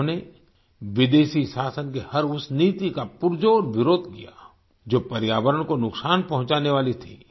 उन्होंने विदेशी शासन की हर उस नीति का पुरजोर विरोध किया जो पर्यावरण को नुकसान पहुचाने वाली थी